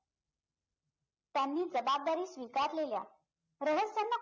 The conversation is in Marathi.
त्यांनी जबाबदारी स्वीकारलेल्या रहस्यांना